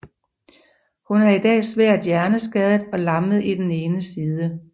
Hun er i dag svært hjerneskadet og lammet i den ene side